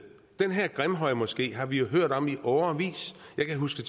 den her grimhøjmoské har vi jo hørt om i årevis jeg kan huske